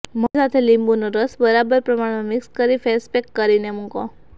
મધ સાથે લીંબુનો રસ બરાબર પ્રમાણમાં મિક્સ કરી ફેસપેક કરીને મૂકી રાખો